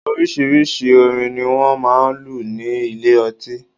Oríṣiríṣi orin ni wọ́n máa ń lù ní ilé ọtí